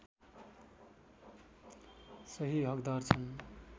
सही हकदार छन्